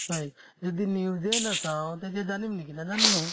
হয় যদি news য়ে নাচাওঁ তেতিয়া জানিম নেকি নাজানো নহয়